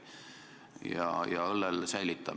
Aga õlle oma säilib.